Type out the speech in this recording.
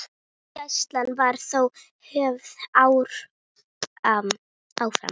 Gæsla var þó höfð áfram.